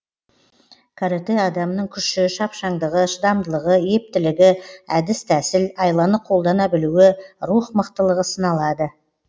каратэ адамның күші шапшаңдығы шыдамдылығы ептілігі әдіс тәсіл айланы қолдана білуі рух мықтылығы сыналады